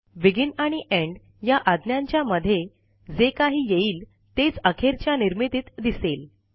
begin आणि end या आज्ञांच्या मधे जे काही येईल तेच अखेरच्या निर्मितीत दिसेल